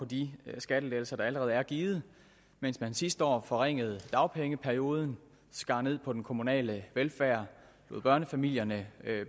de skattelettelser der allerede er givet mens man sidste år forringede dagpengeperioden skar ned på den kommunale velfærd lod børnefamilierne